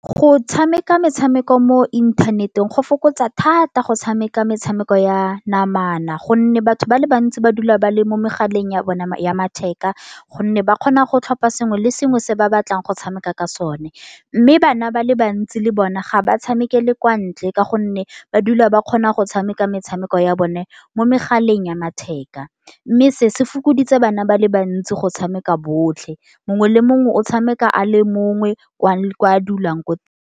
Go tshameka metshameko mo inthanet-eng, go fokotsa thata go tshameka metshameko ya namana. Gonne batho ba le bantsi, ba dula ba le mo megaleng ya bona ya matheka. Gonne ba kgona go tlhopa sengwe le sengwe se ba batlang go tshameka ka sone. Mme bana ba le bantsi, le bone ga ba tshamekele kwa ntle. Ka gonne ba dula ba kgona go tshameka metshameko ya bone, mo megaleng ya matheka. Mme se, se fokoditse bana ba le bantsi go tshameka botlhe. Mongwe le mongwe o tshameka a le mongwe kwa a dulang ko.